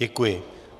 Děkuji.